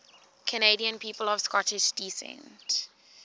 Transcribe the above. canadian people of scottish descent